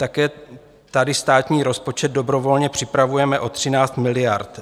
Také tady státní rozpočet dobrovolně připravujeme o 13 miliard.